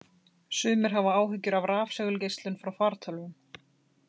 Sumir hafa áhyggjur af rafsegulgeislun frá fartölvum.